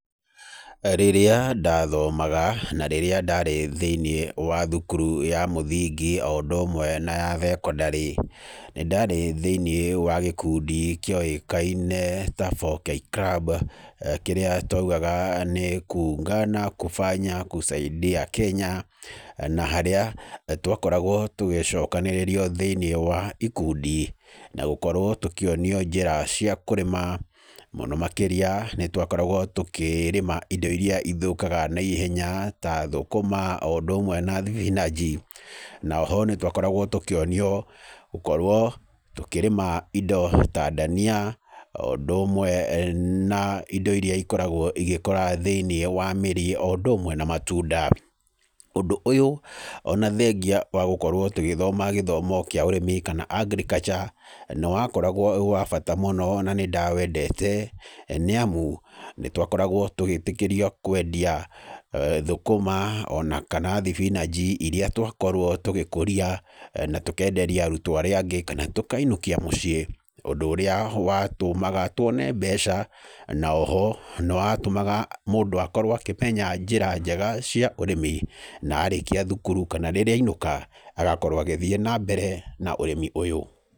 Rĩrĩa ndathomaga, na rĩrĩa ndarĩ thĩiniĩ wa thukuru ya mũthingi oũndũ ũmwe na ya thekondarĩ, nĩndarĩ thĩiniĩ wa gĩkundi kĩoĩkaine ta 4K club, kĩrĩa twaugaga nĩ kuungana kufanya kusaidia kenya, na harĩa twakoragwo tũgĩcokanĩrĩrio thĩiniĩ wa ikundi na gũkorwo tũkĩonio njĩra cia kũrĩma, mũno makĩria nĩtwakoragwo tũkĩrĩma indo iria ithũkaga naihenya ta thũkũma oũndũ ũmwe na thibinanji. Na oho nĩtwakoragwo tũkĩonio gũkorwo tũkĩrĩma indo ta ndania oũndũ ũmwe na indo iria ikoragwo igĩkũra thĩiniĩ wa mĩrĩ oũndũ ũmwe na matunda. Ũndũ ũyũ ona thengia wa gũkorwo tũgĩthoma gĩthomo kĩa ũrĩmi kana agriculture, nĩwakoragwo wĩwa bata mũno na nĩndawendete, nĩamu nĩtwakoragwo tũgĩtĩkĩrio kwendia thũkũma ona kana thibinanji iria twakorwo tũgĩkũria na tũkenderia arutwo arĩa angĩ kana tũkainũkia mũciĩ, ũndũ ũrĩa watũmaga twone mbeca, na oho nĩwatũmaga mũndũ akorwo akĩmenya njĩra njega cia ũrĩmi, na arĩkia thukuru kana rĩrĩa ainũka agakorwo agĩthiĩ nambere na ũrĩmi ũyũ.